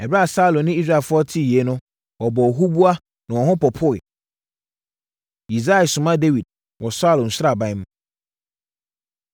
Ɛberɛ a Saulo ne Israelfoɔ tee yei no wɔbɔɔ huboa na wɔn ho popoeɛ. Yisai Soma Dawid Wɔ Saulo Sraban Mu